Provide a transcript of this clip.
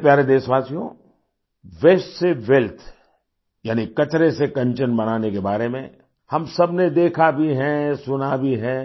मेरे प्यारे देशवासियो वास्ते से वेल्थ यानी कचरे से कंचन बनाने के बारे में हम सबने देखा भी है सुना भी है